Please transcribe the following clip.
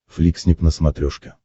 фликснип на смотрешке